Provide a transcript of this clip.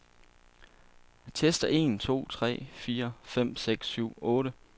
Tester en to tre fire fem seks syv otte.